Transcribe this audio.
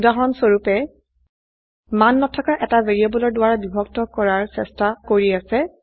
উদাহৰণস্বৰুপে মান নথকা এটা ভ্যাৰিয়েবলৰ দ্বাৰা বিভক্ত কৰাৰ চেষ্টা কৰি আছে